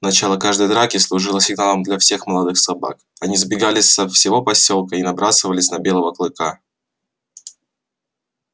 начало каждой драки служило сигналом для всех молодых собак они сбегались со всего посёлка и набрасывались на белого клыка